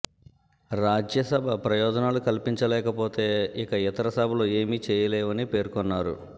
రాజ్య సభ ప్రయోజనాలు కల్పించలేకపోతే ఇక ఇతర సభలు ఏమి చేయలేవని పేర్కొన్నారు